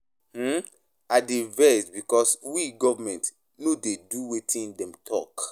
um I dey vex because we government no dey do wetin dem talk.